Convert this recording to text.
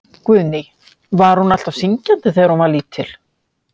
Guðný: Var hún alltaf syngjandi þegar hún var lítil?